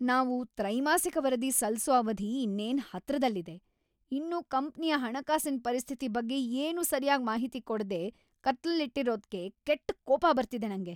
ನಾವು ತ್ರೈಮಾಸಿಕ ವರದಿ ಸಲ್ಸೋ ಅವಧಿ ಇನ್ನೇನ್‌ ಹತ್ರದಲ್ಲಿದೆ. ಇನ್ನೂ ಕಂಪ್ನಿಯ ಹಣಕಾಸಿನ್‌ ಪರಿಸ್ಥಿತಿ ಬಗ್ಗೆ ಏನೂ ಸರ್ಯಾಗ್‌ ಮಾಹಿತಿ ಕೊಡ್ದೇ ಕತ್ಲಲ್ಲಿಟ್ಟಿರೋದ್ಕೆ ಕೆಟ್ಟ್‌ ಕೋಪ ಬರ್ತಿದೆ ನಂಗೆ.